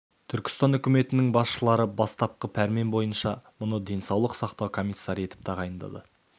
түркістан үкіметінің басшылары бастапқы пәрмен бойынша мұны денсаулық сақтау комиссары етіп тағайындады